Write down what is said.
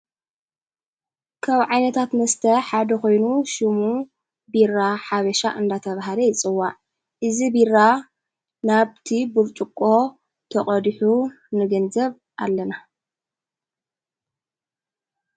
ካብ ዓይነታት መስተ ሓደ ኾይኑ፤ ሽሙ ቢራ ሓበሻ እንዳተብሃለ ይፅዋዕ። እዝ ቢራ ናብቲ ቡርጭቆ ተቐድሑ ንገንዘብ ኣለና።